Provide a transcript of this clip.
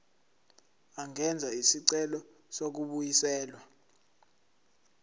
angenza isicelo sokubuyiselwa